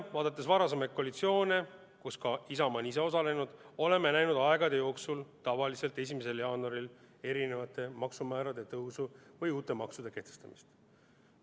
Vaadates varasemaid koalitsioone, kus ka Isamaa on ise osalenud, oleme aegade jooksul näinud tavaliselt 1. jaanuaril maksumäärade tõusu või uute maksude kehtestamist.